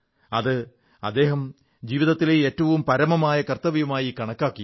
അത് അദ്ദേഹം ജീവിതത്തിലെ ഏറ്റവും പരമമായ കർത്തവ്യമായി കണക്കാക്കി